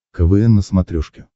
квн на смотрешке